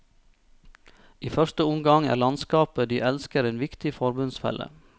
I første omgang er landskapet de elsker en viktig forbundsfelle.